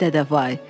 Vay dədə vay.